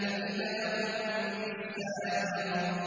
فَإِذَا هُم بِالسَّاهِرَةِ